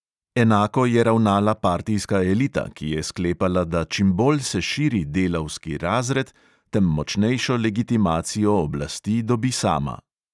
Enako je ravnala partijska elita, ki je sklepala, da čim bolj se širi delavski razred, tem močnejšo legitimacijo oblasti dobi sama.